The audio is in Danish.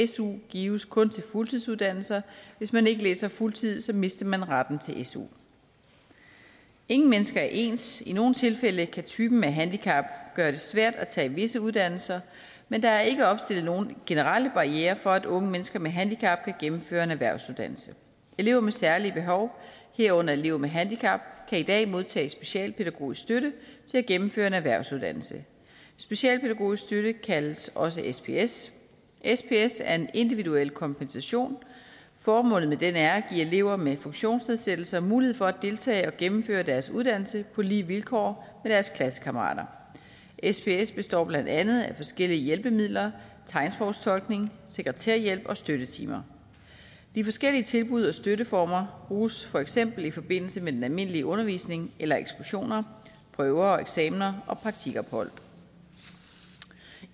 su gives kun til fuldtidsuddannelser hvis man ikke læser på fuldtid mister man retten til su ingen mennesker er ens i nogle tilfælde kan typen af handicap gøre det svært at tage visse uddannelser men der er ikke opstillet nogle generelle barrierer for at unge mennesker med handicap kan gennemføre en erhvervsuddannelse elever med særlige behov herunder elever med handicap kan i dag modtage specialpædagogisk støtte til at gennemføre en erhvervsuddannelse specialpædagogisk støtte kaldes også sps sps er en individuel kompensation formålet med den er at give elever med funktionsnedsættelser mulighed for at deltage og gennemføre deres uddannelse på lige vilkår med deres klassekammerater sps består blandt andet af forskellige hjælpemidler tegnsprogstolkning sekretærhjælp og støttetimer de forskellige tilbud og støtteformer bruges for eksempel i forbindelse med den almindelige undervisning eller ekskursioner prøver og eksamener og praktikophold